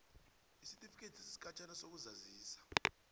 isitifikethi sesikhatjhana sokuzazisa